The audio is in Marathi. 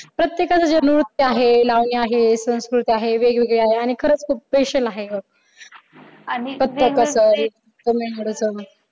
प्रत्येकाचं जे नृत्य आहे लावणी आहे संस्कृती आहे वेगवेगळं आहे आणि खरंच खूप special आहे